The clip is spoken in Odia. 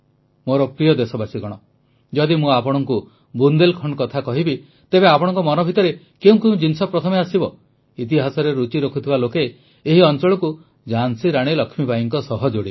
ମୋର ପ୍ରିୟ ଦେଶବାସୀଗଣ ଯଦି ମୁଁ ଆପଣଙ୍କୁ ବୁନ୍ଦେଲ୍ଖଣ୍ଡ କଥା କହିବି ତେବେ ଆପଣଙ୍କ ମନ ଭିତରେ କେଉଁ କେଉଁ ଜିନିଷ ପ୍ରଥମେ ଆସିବ ଇତିହାସରେ ରୁଚି ରଖୁଥିବା ଲୋକେ ଏହି ଅଂଚଳକୁ ଝାନ୍ସୀ ରାଣୀ ଲକ୍ଷ୍ମୀବାଈଙ୍କ ସହ ଯୋଡ଼ିବେ